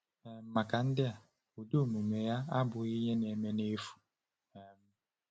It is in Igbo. um Maka ndị a, ụdị omume a abụghị ihe na-eme n’efu. um